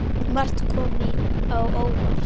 Margt kom á óvart.